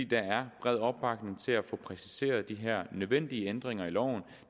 der er bred opbakning til at få præciseret de her nødvendige ændringer af loven